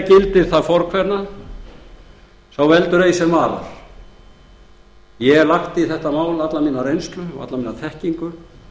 gildir hið fornkveðna ei veldur sá er varar ég hef lagt í þetta mál alla mína reynslu og alla mína þekkingu